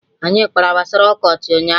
Anyị kpara gbasara ọkọchị ụnyaahụ